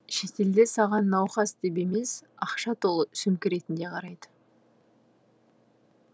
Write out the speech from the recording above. шетелде саған науқас деп емес ақша толы сөмке ретінде қарайды